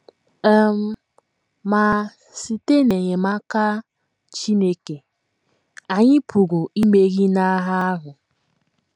um Ma, site n’enyemaka Chineke, anyị pụrụ imeri n’agha ahụ.